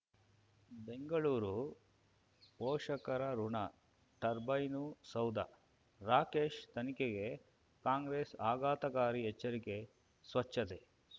ಬೆಂಗಳೂರು ಪೋಷಕರಋಣ ಟರ್ಬೈನು ಸೌಧ ರಾಕೇಶ್ ತನಿಖೆಗೆ ಕಾಂಗ್ರೆಸ್ ಆಘಾತಕಾರಿ ಎಚ್ಚರಿಕೆ ಸ್ವಚ್ಛತೆ